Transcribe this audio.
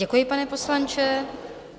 Děkuji, pane poslanče.